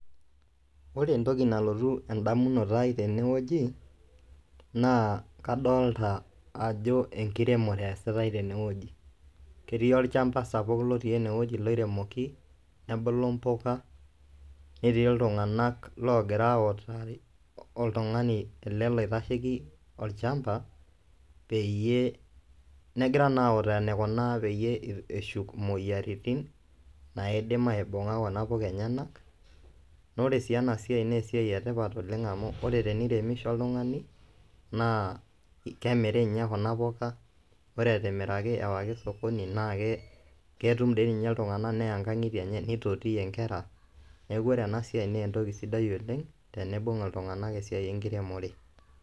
Ore entoki nalotu endamunoto ai tene wueji naa kadolita ajo enkiremore eesitae tene wueji, ketii olchamba sapuk otii ene wueji sapuk loiremoki nebulu mpuka, netii iltungana oogira autaa oltungani ele loitasheiki olchamba peyie, negira naa autaki eneiko pee eshuk moyiaritin naidim aibunga kuna puka enyana naa ore sii ena siai naa esiai etipat oleng amu teneiremisho oltungani naa kemiri ninye kuna puka, ore etimiraki ewaki sokoni naa ketum dii ninye iltungana neya nkangitie enye nitotiyie nkera, neeku ore ena siai naa entoki sidai oleng teneibung iltungana esiai enkiremore.